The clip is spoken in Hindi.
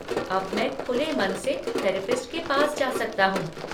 अब मैं खुले मन से थेरपिस्ट के पास जा सकता हूँ।